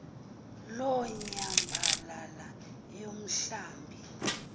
loo nyambalala yomhlambi